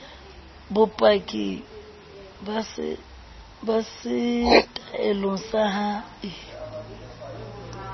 bopaki ba setaele sa hae